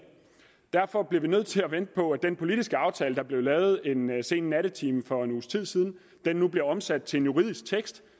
derfor bliver vi nødt til at vente på at den politiske aftale der blev lavet en sen nattetime for en uges tid siden nu bliver omsat til en juridisk tekst